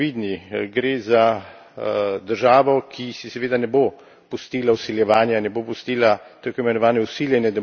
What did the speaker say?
Gre za državo, ki si seveda ne bo pustila vsiljevanja, ne bo pustila tako imenovane vsiljene demokracije.